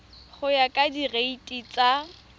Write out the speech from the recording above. go ya ka direiti tsa